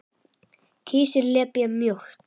Kisurnar lepja mjólkina.